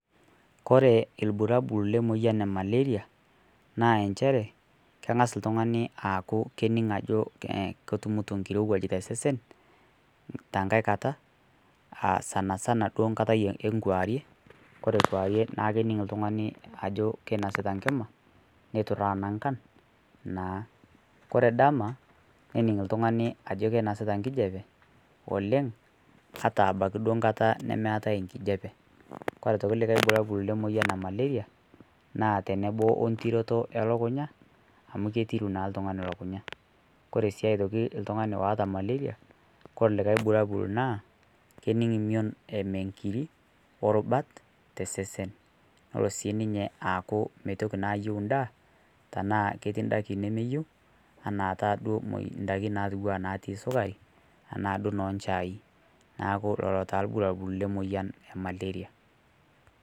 Kore ilburabol lemoyian e malaria naa inchere keng'as oltung'ani anik aaku ketumito enkirowuaj tosesen tenkai kata aa sanasana duo enkata enkarie ore enkuarie naa kening oltung'ani ajo keinasita enkima neitutaa inankan naa ore dama nening oltung'ani ajo keinasita enkijiape oleng ata abaiki duo nkata nemeetai enkijiape kore aitoki likae bulabol lemoyian e malaria naa tenebo wentiroro elukunya amu ketiru naa oltung'ani elukunya kore sii aitoki oltung'ani oota malaria kore likae bulalabol naa kening emiyion eme inkirik orubuta tesesen nelo naa siininye aaku meyieu endaa aaketii indaiki nemeyieu enaataaduo ndaiki naati sukari naajii noo njai neeku lelo taaduo irbulabol lemoyian e malaria